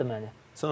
Çıxartdı məni.